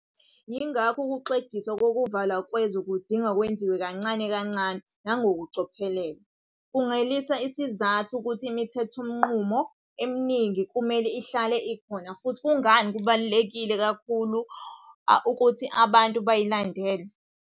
Yingakho ukuxegiswa kokuvalwa kwezwe kudinga kwenziwe kancane kancane nangokucophelela. Kungalesi sizathu ukuthi imithethonqubo eminingi kumele ihlale ikhona futhi kungani kubalulekile kakhulu ukuthi abantu bayilandele.